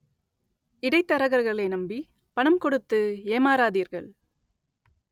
இடைத்தரகர்களை நம்பி பணம் கொடுத்து ஏமாறாதீர்கள்